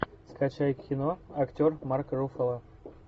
скачай кино актер марк руффало